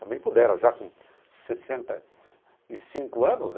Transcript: Também pudera, já com sessenta e cinco anos, né?